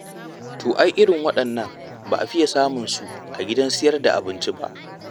To ai irin waɗannan ba a fiya samunsu a gidajen sayar da abinci ba.